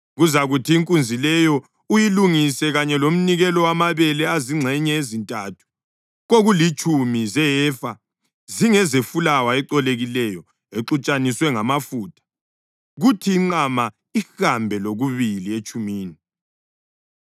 Kuzakuthi inkunzi leyo uyilungise kanye lomnikelo wamabele azingxenye ezintathu kokulitshumi zehefa zingezefulawa ecolekileyo exutshaniswe ngamafutha; kuthi inqama ihambe lokubili etshumini;